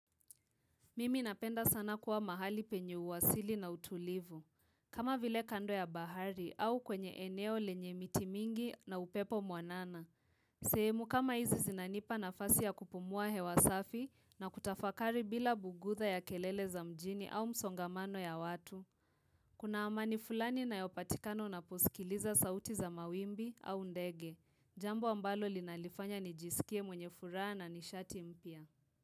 Mimi napenda sana kuwa mahali penye uwasili na utulivu. Kama vile kando ya bahari au kwenye eneo lenye miti mingi na upepo mwanana. Sehemu kama hizi zinanipa nafasi ya kupumua hewa safi na kutafakari bila bugudha ya kelele za mjini au msongamano ya watu. Kuna amani fulani inayopatikana unaposikiliza sauti za mawimbi au ndege. Jambo ambalo linalifanya nijisikie mwenye furaha na nishati mpia.